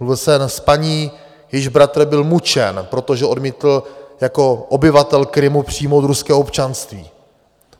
Mluvil jsem s paní, jejíž bratr byl mučen, protože odmítl jako obyvatel Krymu přijmout ruské občanství.